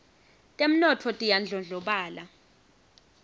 temnotfo tiyandlondlobala